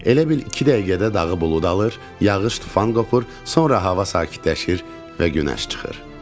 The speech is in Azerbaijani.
Elə bil iki dəqiqədə dağı bulud alır, yağış tufan qopur, sonra hava sakitləşir və günəş çıxır.